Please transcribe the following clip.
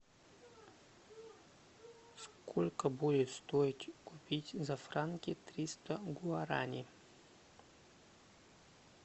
сколько будет стоить купить за франки триста гуарани